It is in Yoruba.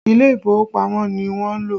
Ilé ìfowópamọ́ ni wọ́n lọ